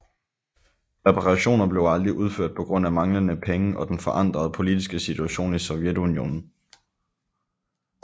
Reparationer blev aldrig udført på grund af manglende penge og den forandrede politiske situation i Sovjetunionen